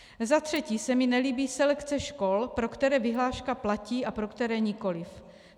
Za třetí se mi nelíbí selekce škol, pro které vyhláška platí a pro které nikoliv.